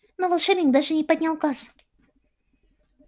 но волшебник даже не поднял глаз